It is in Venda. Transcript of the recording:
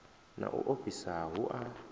na u ofhisa hu a